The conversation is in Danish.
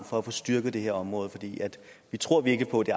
for at få styrket det her område vi tror virkelig på at det